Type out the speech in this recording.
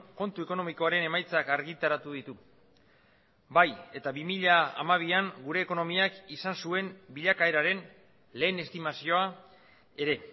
kontu ekonomikoaren emaitzak argitaratu ditu bai eta bi mila hamabian gure ekonomiak izan zuen bilakaeraren lehen estimazioa ere